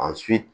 A